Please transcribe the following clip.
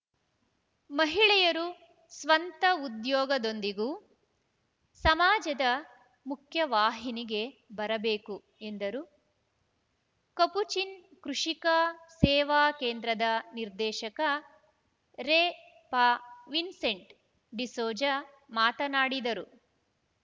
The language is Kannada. ಮಹಿಳೆಯರು ಸ್ವಂತ ಉದ್ಯೋಗದೊಂದಿಗೂ ಸಮಾಜದ ಮುಖ್ಯವಾಹಿನಿಗೆ ಬರಬೇಕು ಎಂದರು ಕಪುಚಿನ್‌ ಕೃಷಿಕಾ ಸೇವಾ ಕೇಂದ್ರದ ನಿರ್ದೇಶಕ ರೆಪಾವಿನ್ಸೆಂಟ್‌ ಡಿಸೋಜ ಮಾತನಾಡಿದರು